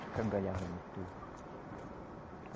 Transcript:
Escangalhava motor.